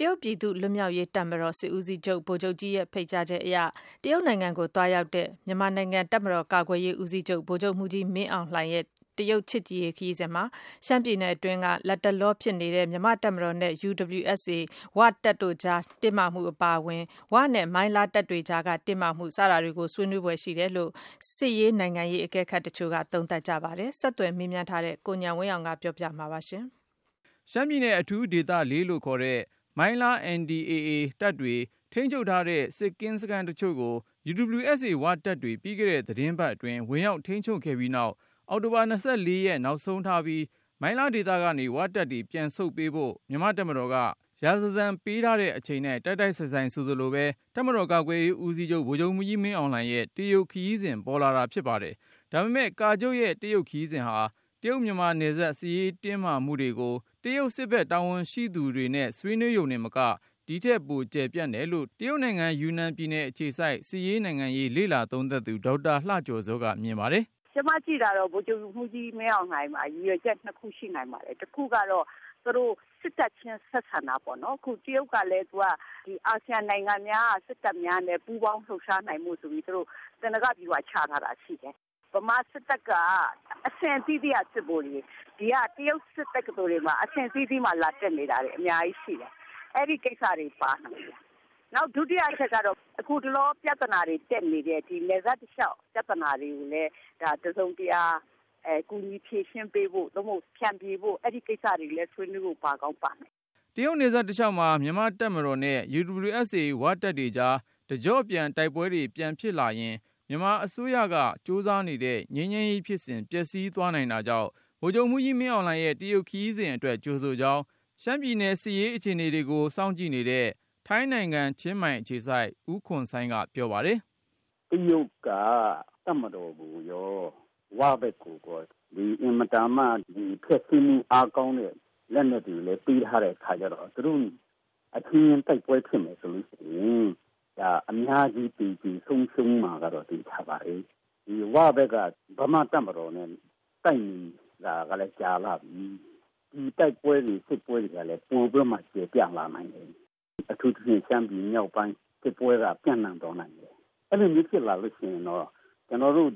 တရုတ်ပြည်သူ့လွတ်မြောက်ရေးတပ်မတော် စစ်ဦးစီးချုပ် ဗိုလ်ချုပ်ကြီး Fang Fenghui ရဲ့ဖိတ်ကြားချက်အရ တရုတ်နိုင်ငံကို သွားရောက်တဲ့ တပ်မတော်ကာကွယ်ရေး ဦးစီးချုပ် ဗိုလ်ချုပ်မှူးကြီးမင်းအောင်လှိုင်ရဲ့ တရုတ်ချစ်ကြည်ရေးခရီးစဉ်မှာ ရှမ်းပြည်နယ်တွင်း လတ်တလောဖြစ် နေတဲ့ မြန်မာ့တပ်မတော်နဲ့ UWSA ‘ဝ’ တပ်ကြား တင်းမာမှုအပါအဝင်၊ ‘ဝ’နဲ့ မိုင်းလားတပ်တွေကြားတင်းမာမှု စတာတွေကို ဆွေးနွေးဖွယ် ရှိတယ်လို့ စစ်ရေးနိုင်ငံရေး အကဲခတ်တချို့က သုံးသပ်ကြပါတယ်။ ဆက်သွယ်မေးမြန်းထားတဲ့ ကိုဉာဏ်ဝင်းအောင်က တင်ပြပါမယ်။ ရှမ်းပြည်နယ် အထူးဒေသ ၄ လို့ခေါ်တဲ့ မိုင်းလား NDAA တပ်တွေ ထိန်းချုပ်ထားတဲ့ စစ်ကင်းစခန်းတချို့ကို UWSA ‘ဝ’ တပ်တွေ ပြီးခဲ့တဲ့ သီတင်းပတ်အတွင်း ဝင်ရောက်ထိန်းချုပ်ခဲ့ပြီးနောက်၊ အောက်တိုဘာ ၂၄ နောက်ဆုံးထားပြီး မိုင်းလားဒေသကနေ ‘ဝ’တပ်တွေ ပြန်ဆုပ်ပေးဖို့ မြန်မာ့တပ်မတော်က ရာဇသံပေးထားတဲ့ အချိန်နဲ့ တိုက်တိုက်ဆိုင်ဆိုင် ဆိုသလိုပဲ တပ်မတော် ကာကွယ်ရေး ဦးစီးချုပ် ဗိုလ်ချုပ်မှူးကြီး မင်းအောင်လှိုင်ရဲ့ တရုတ် ခရီးစဉ် ပေါ်လာတာဖြစ်ပါတယ်။ ဒါပေမယ့် ကာချုပ်ရဲ့ တရုတ်ခရီးစဉ်ဟာ တရုတ်မြန်မာနယ်စပ် စစ်ရေးတင်းမာမှု တွေကို တရုတ်စစ်ဖက် တာဝန်ရှိသူတွေနဲ့ ဆွေးနွေးရုံတင်မက ဒီထက်ကျယ်ပြန့်တယ်လို့ တရုတ်နိုင်ငံ ယူနန်ပြည်နယ်အခြေစိုက် စစ်ရေး နိုင်ငံရေး လေ့လာသုံးသပ်သူ ဒေါက်တာလှကျော်ဇောက မြင်ပါတယ်။ " ကျမကြည့်တာတော့ ဗိုလ်ချုပ်မှူးကြီးမင်းအောင်လှိုင်မှာ ရည်ရွယ်ချက် နှစ်ခု ရှိနိုင်ပါတယ်။ တခုကတော့ သူတို့ စစ်တပ်ချင်း ဆက်ဆံတာပေါ့နော်။ အခုကလည်း တရုတ်ကလည်း အာဆီယံနိုင်ငံများက စစ်တပ်များနဲ့ ပူးပေါင်း လှုပ်ရှားနိုင်ဖို့ သေနင်္ဂဗျူဟာ ချထားတာရှိတယ်။ မြန်မာစစ်တပ်က အဆင့်အသီးသီးက စစ်ဗိုလ်တွေ ဒီက တရုတ်စစ်တက္ကသိုလ်တွေမှာ အဆင့်အသီးသီးမှာ လာတက်နေ တာတွေ အများကြီးရှိတယ်။ အဲ့ဒီ့ကိစ္စတွေ ပါနိုင်တယ်။ နောက် ဒုတိယ အချက်ကတော့ အခုတလောပြသနာတွေ တက်နေတဲ့ နယ်စပ် တလျောက်ပြသနာတွေကို တစုံတရာ ကူညီဖြေရှင်းပေးဖို့ သို့မဟုတ် ဖြန်ဖြေပေးဖို့ အဲ့ဒီ့ကိစ္စတွေကို ဆွေးနွေးဖို့လည်း ပါကောင်းပါနိုင်တယ်။" တရုတ်နယ်စပ်တလျှောက်မှာ မြန်မာ့တပ်မတော်နဲ့ UWSA ‘ဝ’ တပ်တွေကြား တကျော့ပြန် တိုက်ပွဲတွေပြန်ဖြစ်လာရင် မြန်မာအစိုးရက ကြိုးစားနေတဲ့ ငြိမ်းချမ်းရေးဖြစ်စဉ် ပျက်စီးသွားနိူင်တာကြောင့် ဗိုလ်ချုပ်မှူးကြီး မင်းအောင်လှိုင်ရဲ့ တရုတ်ခရီးစဉ် အတွက် ကြိုဆိုကြောင်း ရှမ်းပြည်စစ်ရေး အခြေအနေ ကို စောင့်ကြည့်နေတဲ့ ထိုင်းနိုင်ငံ ချင်းမိုင်အခြေစိုက် ဦးခွန်ဆိုင်းက ပြောပါတယ်။ "တရုတ်က တပ်မတော်ကိုရော ဝဘက်ကိုရော အင်မတန်မှ ဖျက်ဆီးမှု အားကောင်းတဲ့ လက်နတ်တွေလည်း ပေးထားတဲ့အခါကျတော့ သူတို့အချင်းချင်း တိုက်ပွဲဖြစ်မယ်ဆိုလို့ရှိရင် အများကြီး သေကြေဆုံးရှုံးမှာကတော့ သေချာပါတယ်။ ဝဘက်ကလည်း မြန်မာ့တပ်မတော်နဲ့ တိုက်နေတာကလည်း ကြာလှပြီ။ ဒီတိုက်ပွဲတွေ စစ်ပွဲတွေကလည်း ပိုပြီးတော့မှ ကျယ်ပြန့်လာနိုင်တယ်။ အထူးသဖြင့် ရှမ်းပြည်မြောက်ပိုင်း စစ်ပွဲက ပိုပြီးတော့မှ ကျယ်ပြန့်သွားနိုင်တယ်။ အဲ့လိုဆိုရင် ကျနော်တို့